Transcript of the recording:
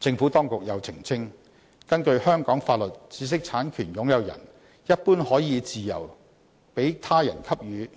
政府當局又澄清，根據香港法律，知識產權擁有人一般可以自由向他人給予